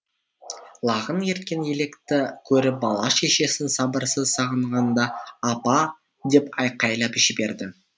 лағын ерткен елікті көріп бала шешесін сабырсыз сағынғанда апа деп айқайлап жіберді